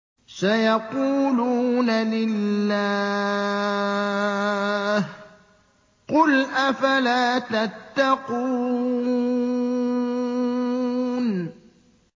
سَيَقُولُونَ لِلَّهِ ۚ قُلْ أَفَلَا تَتَّقُونَ